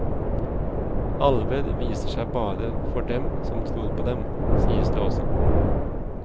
Alver viser seg bare for dem som tror på dem, sies det også.